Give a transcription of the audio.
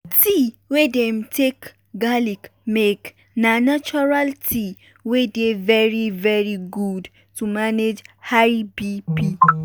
tea wey dem take garlic make na natural tea wey dey very very good to manage high bp.